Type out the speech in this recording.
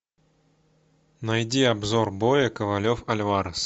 найди обзор боя ковалев альварес